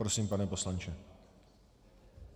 Prosím, pane poslanče.